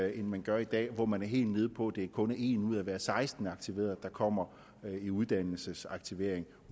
end man gør i dag hvor man er helt nede på at det kun er en ud af hver seksten aktiverede der kommer i uddannelsesaktivering